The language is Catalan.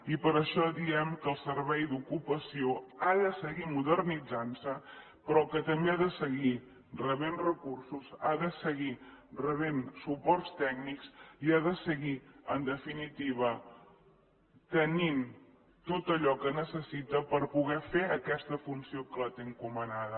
i per això diem que el servei d’ocupació ha de seguir modernitzant se però que també ha de seguir reben recursos ha de seguir rebent suports tècnics i ha de seguir en definitiva tenint tot allò que necessita per poder fer aquesta funció que té encomanada